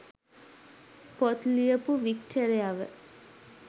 පොත් ලියපු වික්ටරයව